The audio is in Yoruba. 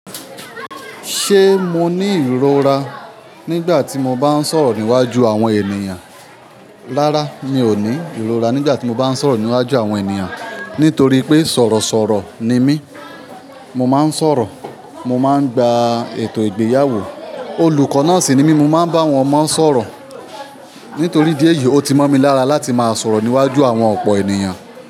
Ṣé mo ní ìrora nígbà tí mo bá ń sọ̀rọ̀ níwájú àwọn ènìyàn? Rárá, mi ò ní ìrora nígbà tí mo bá ń sọ̀rọ̀ níwájú àwọn ènìyàn. Nítorí pé sọ̀rọ̀ sọ̀rọ̀ ni mí. Mo máa ń sọ̀rọ̀, mo máa ń gba ètò ìgbéyàwó. Olùkọ́ náà sì ni mí, mo máa ń bá àwọn ọmọ sọ̀rọ̀. Nítorí idí eyìí, ó ti mọ̀ mi lára láti máa sọ̀rọ̀ níwájú àwọn ọ̀pọ̀ ènìyàn.